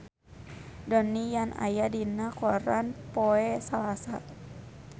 Donnie Yan aya dina koran poe Salasa